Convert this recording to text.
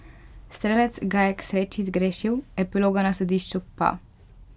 Strelec ga je k sreči zgrešil, epiloga na sodišču pa?